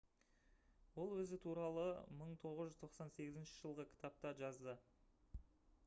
ол өзі туралы 1998 жылғы кітапта жазды